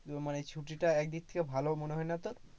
মানে ছুটিটা একদিক থেকে ভালোও মনে হয়না তোর,